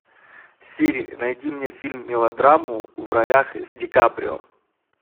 сири найди мне фильм мелодраму в ролях с ди каприо